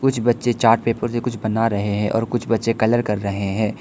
कुछ बच्चे chart paper से कुछ बना रहे है और कुछ बच्चे कलर कर रहे है।